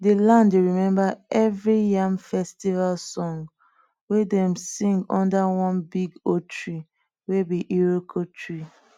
the land dey remember every yam festival song wey dem sing under one big old tree wey be iroko tree